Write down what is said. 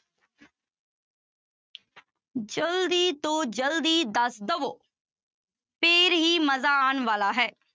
ਜ਼ਲਦੀ ਤੋਂ ਜ਼ਲਦੀ ਦੱਸ ਦੇਵੋ ਫਿਰ ਹੀ ਮਜ਼ਾ ਆਉਣ ਵਾਲਾ ਹੈ।